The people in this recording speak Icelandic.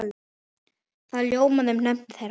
Það ljómaði um nöfn þeirra.